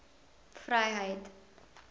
vryheid